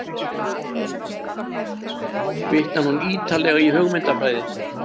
Vitnar hún ítarlega í hugmyndafræði